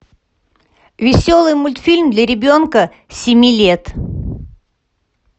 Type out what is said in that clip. веселый мультфильм для ребенка семи лет